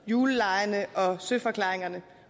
julelegene og søforklaringerne